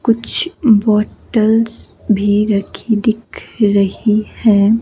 कुछ बॉटल्स भी राखी दिख रही है।